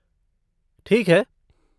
ठीक है।